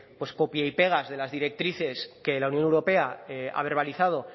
pues copia y pega de las directrices que la unión europea ha verbalizado